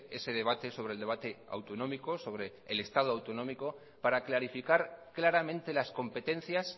ese debate sobre el debate autonómico sobre el estado autonómico para clarificar claramente las competencias